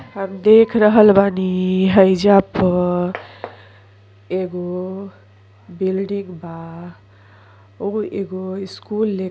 हम देख रहल बानी हईजा पर एगो बिल्डिंग बा और एगो स्कूल लेख--